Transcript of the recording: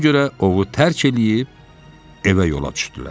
Ona görə ovu tərk eləyib evə yola düşdülər.